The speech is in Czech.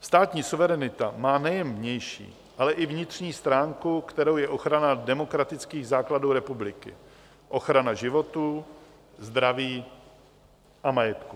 Státní suverenita má nejen vnější, ale i vnitřní stránku, kterou je ochrana demokratických základů republiky, ochrana životů, zdraví a majetku.